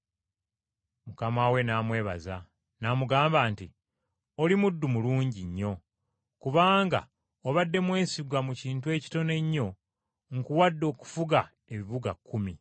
“Mukama we n’amwebaza, n’amugamba nti, ‘Oli muddu mulungi nnyo. Kubanga obadde mwesigwa mu kintu ekitono ennyo, nkuwadde okufuga ebibuga kkumi.’